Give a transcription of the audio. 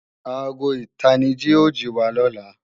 Aago ìtanijí ó jìwa lọ́la